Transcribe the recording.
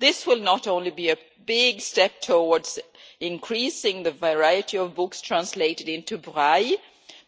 This will not only be a big step towards increasing the variety of books translated into Braille